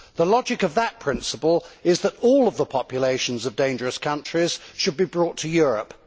The logic of that principle is that all of the populations of dangerous countries should be brought to Europe.